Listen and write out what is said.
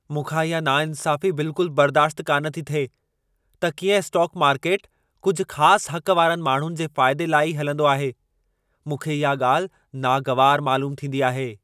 मूंखा इहा नाइंसाफी बिल्कुल बर्दाशति कान थी थिए, त कीअं स्टोक मार्केट कुझु ख़ासि हक़ वारनि माण्हुनि जे फ़ाइदे लाइ ई हलंदो आहे। मूंखे इहा ॻाल्हि नागवारु मइलूमु थींदी आहे।